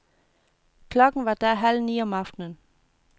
Klokken var da halvni om aftenen.